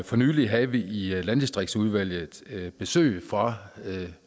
for nylig havde vi i landdistriktsudvalget besøg fra